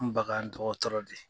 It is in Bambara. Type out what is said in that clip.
bagan dɔgɔtɔrɔ de ye.